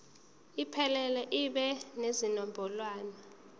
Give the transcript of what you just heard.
iphelele ibe nezinombolwana